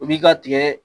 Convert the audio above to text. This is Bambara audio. O b'i ka tigɛ